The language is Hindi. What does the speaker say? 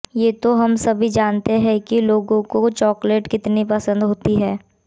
ये तो हम सभी जानते है कि लोगों को चॉकलेट कितनी पंसद होती है